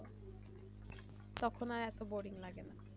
সব সময় এত বোরিং লাগে না